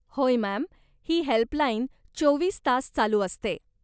होय, मॅम, ही हेल्पलाईन चोवीस तास चालू असते.